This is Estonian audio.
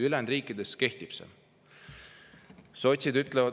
Ülejäänud riikides kehtib see.